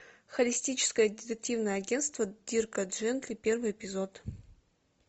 холистическое детективное агентство дирка джентли первый эпизод